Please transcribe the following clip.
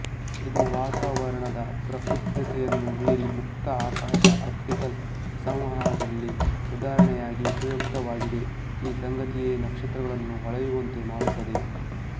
ಇದು ವಾತಾವರಣದ ಪ್ರಕ್ಷುಬ್ದತೆಯನ್ನು ಮೀರಿ ಮುಕ್ತಆಕಾಶ ಆಪ್ಟಿಕಲ್ ಸಂವಹದಲ್ಲಿ ಉದಾಹರಣೆಯಾಗಿ ಉಪಯುಕ್ತವಾಗಿದೆ ಈ ಸಂಗತಿಯೇ ನಕ್ಷತ್ರಗಳನ್ನು ಹೊಳೆಯುವಂತೆ ಮಾಡುತ್ತದೆ